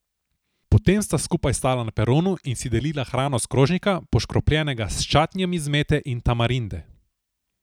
Potem sta skupaj stala na peronu in si delila hrano s krožnika, poškropljenega s čatnijem iz mete in tamarinde.